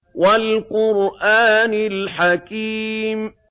وَالْقُرْآنِ الْحَكِيمِ